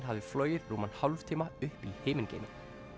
hafði flogið rúman hálftíma upp í himingeiminn